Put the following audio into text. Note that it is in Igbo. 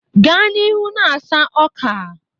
Gaa n'ihu na-asa ọka!